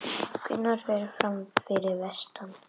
Gunnar fer fram fyrir vestan